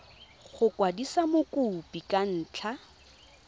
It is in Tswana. go kwadisa mokopi ka ntlha